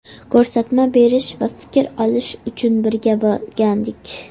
Ko‘rsatma berish va fikr olish uchun birga borgandik.